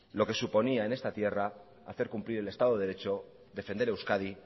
lo que suponía en esta tierra hacer cumplir el estado de derecho defender euskadi